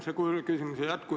Head kolleegid!